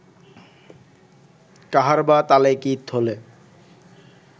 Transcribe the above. কাহারবা তালে গীত হলে